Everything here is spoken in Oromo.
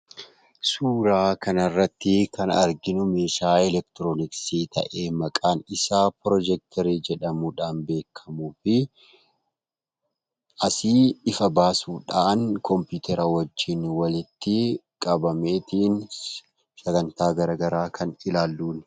Suuraa kana irratti kan arginu, meeshaa elektirooniksii ta'ee maqaan isaa pirojecterii jedhamuudhaan beekamuu fi asii ifa baasuudhaan, kompiitara wajjin walitti qabamee sagantaa garaagaraa kan ilaalluuni